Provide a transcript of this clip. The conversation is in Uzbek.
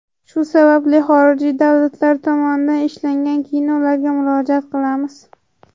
Shu sababli, xorijiy davlatlar tomonidan ishlangan kinolarga murojaat qilamiz.